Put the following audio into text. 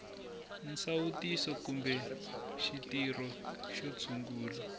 nsawutiso kumbe xitirho xo tshungula